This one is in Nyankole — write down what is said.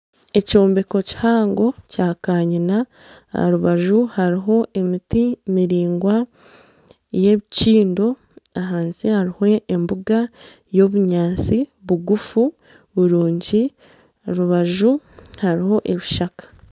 Ekyombeko kihango kya kanyina aha rubaju hariho emiti miringwa y'ebikindo ahansi hariho embuga y'obunyaantsi bugufu burungi aha rubaju hariho ebishaka.